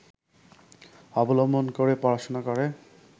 অবলম্বন করে পড়াশোনা করে